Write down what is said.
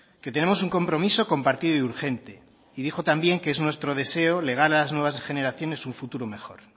que tenemos un compromiso compartido y urgente y dijo también que es nuestro deseo legar a las nuevas generaciones un futuro mejor